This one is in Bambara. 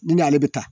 Ni n'ale bɛ taa